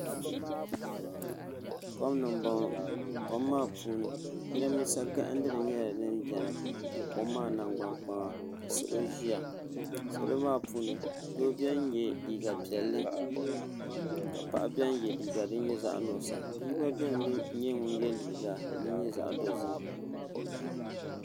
kom ni n bɔŋɔ kom maa puuni jiranbiisa gahandili nyɛla din biɛni kom maa nagbani kpaŋa ka salɔ ʒiya salɔ maa puuni doo biɛni yɛ liiga piɛlli ka paɣa biɛni yɛ liiga din nyɛ zaɣ nuɣsa bia gba biɛni yɛ liiga din nyɛ zaɣ dozim